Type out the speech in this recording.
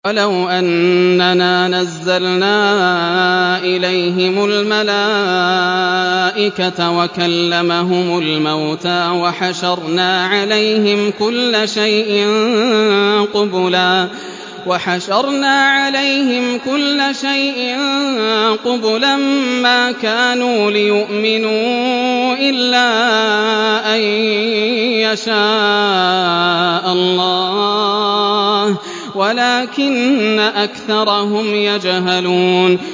۞ وَلَوْ أَنَّنَا نَزَّلْنَا إِلَيْهِمُ الْمَلَائِكَةَ وَكَلَّمَهُمُ الْمَوْتَىٰ وَحَشَرْنَا عَلَيْهِمْ كُلَّ شَيْءٍ قُبُلًا مَّا كَانُوا لِيُؤْمِنُوا إِلَّا أَن يَشَاءَ اللَّهُ وَلَٰكِنَّ أَكْثَرَهُمْ يَجْهَلُونَ